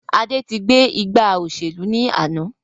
Adé gbé ìgbà òṣèlú ni àná